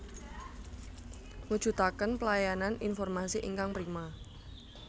Mujudaken pelayanan informasi ingkang prima